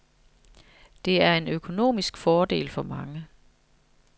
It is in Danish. Det er en økonomisk fordel for mange.